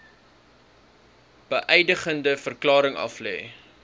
beëdigde verklaring aflê